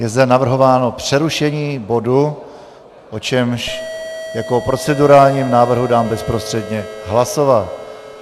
Je zde navrhováno přerušení bodu, o čemž jako procedurálním návrhu dám bezprostředně hlasovat.